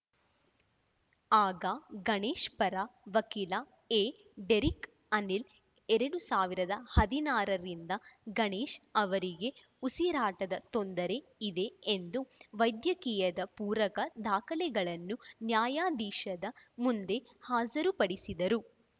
ಆಗ ಗಣೇಶ್‌ ಪರ ವಕೀಲ ಎಡೆರಿಕ್‌ ಅನಿಲ್‌ ಎರಡ್ ಸಾವಿರದ ಹದಿನಾರ ರಿಂದ ಗಣೇಶ್‌ ಅವರಿಗೆ ಉಸಿರಾಟದ ತೊಂದರೆ ಇದೆ ಎಂದು ವೈದ್ಯಕೀಯದ ಪೂರಕ ದಾಖಲೆಗಳನ್ನು ನ್ಯಾಯಾಧೀಶದ ಮುಂದೆ ಹಾಜ್ ರುಪಡಿಸಿದರು